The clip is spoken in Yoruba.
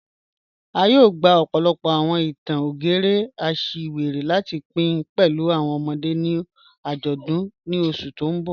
A yóò gbà ọ̀pọ̀lọ̀pọ̀ awọn ìtàn ògérè àṣìwéré láti pìn pẹ̀lú awọn ọ̀mọ̀dé̀ ni ajọdun ni oṣù tì n bọ́.